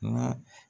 Nka